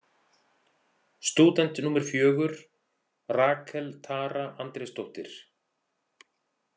Stúdent númer fjögur: Rakel Tara Andrésdóttir.